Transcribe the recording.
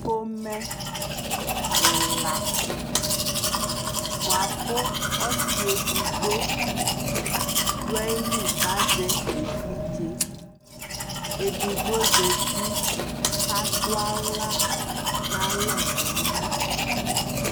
Pomɛ ɛla bua ku ɔsi ɛdigbo du ayi li ka zɛ ɛvidzeƐdigbo zati ka du awla na lɛ nɛ mɔ